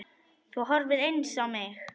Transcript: Þú horfir eins á mig.